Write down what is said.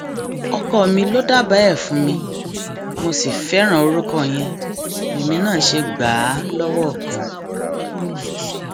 ọkọ mi ló dábàá ẹ fún mi mo sì fẹràn orúkọ yẹn lèmi náà ṣe gbà á lọwọ kan